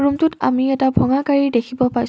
আমি এটা ভঙা গাড়ী দেখিব পাইছোঁ।